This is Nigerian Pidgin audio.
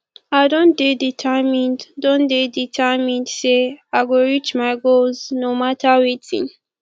i don dey determined don dey determined sey i go reach my goals no mata wetin